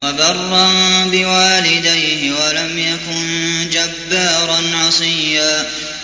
وَبَرًّا بِوَالِدَيْهِ وَلَمْ يَكُن جَبَّارًا عَصِيًّا